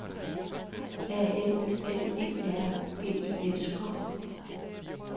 A L L E R G I S K